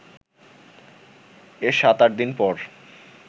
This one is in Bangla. এর সাত-আট দিন পর